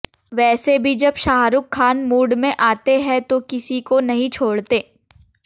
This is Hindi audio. वैसे भी जब शाहरूख खान मूड में आते हैं तो किसी को नहीं छोड़ते